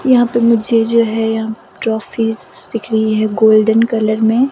यहाँ पे मुझे जो है यहाँ ट्रोफीस दिख रही हैगोल्डन कलर में।